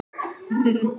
Frá Þingvöllum.